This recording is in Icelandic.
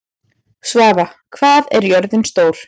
Svava, hvað er jörðin stór?